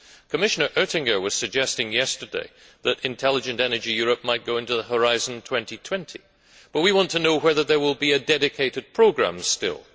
Commissioner Oettinger was suggesting yesterday that Intelligent Energy Europe might go into the Horizon 2020, but we want to know whether there will be a dedicated programme still.